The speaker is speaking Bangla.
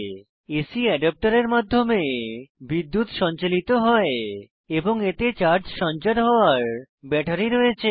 এসি অ্যাডাপ্টারের মাধ্যমে বিদ্যুৎ সঞ্চালিত হয় এবং এতে চার্জ সঞ্চার হওয়ার ব্যাটারি রয়েছে